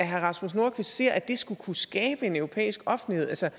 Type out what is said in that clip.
herre rasmus nordqvist ser at det skulle kunne skabe en europæisk offentlighed altså